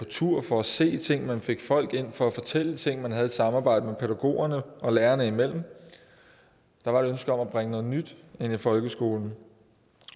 tur for at se tingene man fik folk ind for at fortælle ting man havde et samarbejde pædagogerne og lærerne imellem der var et ønske om at bringe noget nyt ind i folkeskolen